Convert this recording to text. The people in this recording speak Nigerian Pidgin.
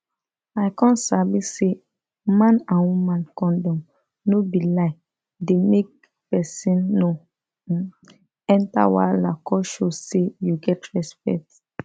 i come sabi say man and woman condom no be lie dey make person no um enter wahala come show say you get respect